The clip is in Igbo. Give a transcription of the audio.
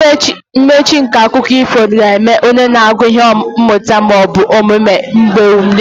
Mmechi nke akụkọ ifo ga-enye onye na-agụ ihe mmụta ma ọ bụ omume mgbe niile.